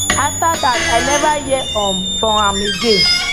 afta dat i never hear um from am again